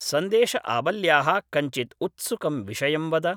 सन्देशआवल्याः कञ्चित् उत्सुकं विषयं वद